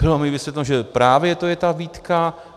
Bylo mi vysvětleno, že právě to je ta výtka.